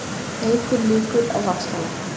Eykur líkur á vaxtalækkun